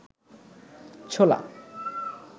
ছোলা